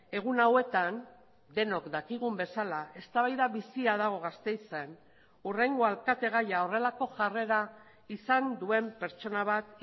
egun hauetan denok dakigun bezala eztabaida bizia dago gasteizen hurrengo alkategaia horrelako jarrera izan duen pertsona bat